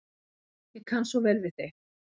Ég kann svo vel við þig.